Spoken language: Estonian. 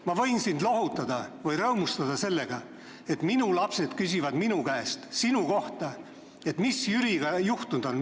Ma võin sind lohutada või rõõmustada sellega, et minu lapsed küsivad minu käest sinu kohta, mis Jüriga juhtunud on.